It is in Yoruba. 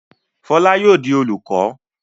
Fọlá yóò di olùkọ́!